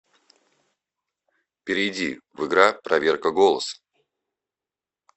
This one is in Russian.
перейди в игра проверка голоса